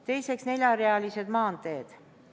Teiseks, neljarealised maanteed.